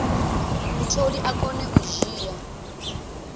mutholi a kone u dzhia